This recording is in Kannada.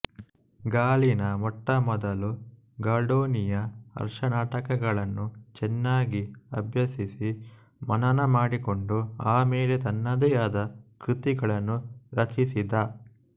ಗಾಲಿನ ಮೊಟ್ಟಮೊದಲ ಗಾಲ್ಡೋನಿಯ ಹರ್ಷನಾಟಕಗಳನ್ನು ಚೆನ್ನಾಗಿ ಅಭ್ಯಸಿಸಿ ಮನನ ಮಾಡಿಕೊಂಡು ಆ ಮೇಲೆ ತನ್ನದೇ ಆದ ಕೃತಿಗಳನ್ನು ರಚಿಸಿದ